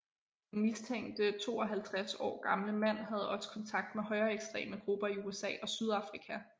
Den mistænkte 52 år gamle mand havde også kontakt med højreekstreme grupper i USA og Sydafrika